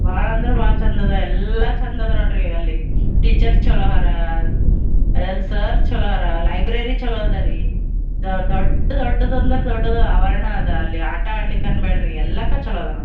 ಬಹಳ ಅಂದ್ರ ಬಹಳ ಚಂದ್ ಅದ ಎಲ್ಲ ಚಂದ ಅದ ನೋಡ್ರಿ ಅಲ್ಲಿ ಟೀಚರ್ಸ್ ಚಲೋ ಅಲ್ಲಿ ಸರ್‌ ಚೊಲೊ ಹರಾ ಲೈಬ್ರರಿ ಚಲೋ ಅದರಿ ದೊಡ್ಡ್ ದೊಡ್ಡ್ ಅಂದ್ರ ದೊಡ್ಡ್ ಆವರಣ ಅದರ ಅಲ್ಲಿ ಆಟ ಆಡ್ಲಿಕ್ಕೆ ಅಂಬೇಡ್ರಿ ಎಲ್ಲದಕ್ಕೂ ಚಲೋ ಅದ ನೊಡ್ರಿ.